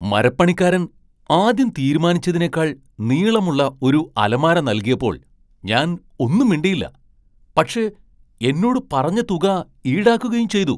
മരപ്പണിക്കാരൻ ആദ്യം തീരുമാനിച്ചതിനേക്കാൾ നീളമുള്ള ഒരു അലമാര നൽകിയപ്പോൾ ഞാൻ ഒന്നും മിണ്ടിയില്ല , പക്ഷേ എന്നോട് പറഞ്ഞ തുക ഈടാക്കുകയും ചെയ്തു.